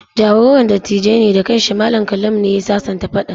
Jagoran dattijan ne da kan shi, Mallam Kallamu, ne ya sasanta faɗan.